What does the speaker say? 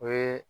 O ye